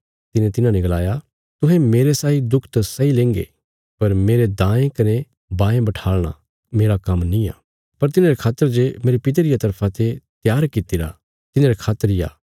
यीशुये तिन्हांने गलाया तुहें मेरे साई दुख त सैही लेंगे पर मेरे दायें कने बायें बठाल़ना मेरा काम्म निआं पर तिन्हांरे खातर जे मेरे पिता परमेशरा रिया तरफा ते त्यार कित्तिरा तिन्हारे खातर इ आ